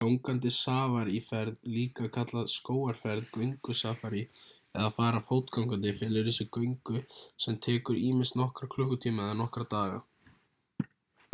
gangandi safaríferð líka kallað skógarferð göngusafarí eða að fara fótgangandi felur í sér göngu sem tekur ýmist nokkra klukkutíma eða nokkra daga